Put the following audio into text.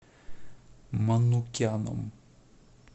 манукяном